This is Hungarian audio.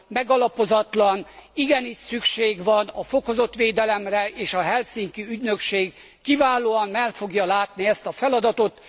megalapozatlan, igenis szükség van a fokozott védelemre és a helsinki ügynökség kiválóan el fogja látni ezt a feladatot.